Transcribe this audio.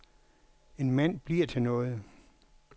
En mand bliver til noget.